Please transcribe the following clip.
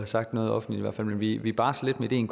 sagt noget offentligt men vi vi barsler lidt med ideen